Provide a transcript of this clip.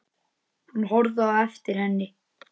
Hann horfði á eftir henni.